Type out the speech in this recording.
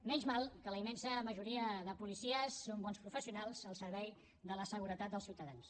encara bo que la immensa majoria de policies són bons professionals al servei de la seguretat dels ciutadans